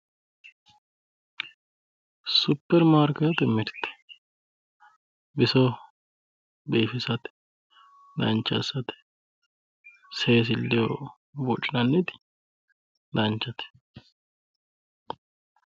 superimaarkeetete mirte bisoho biifisate dancha assate seesilleho buudhinanniti danchate.